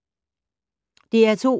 DR2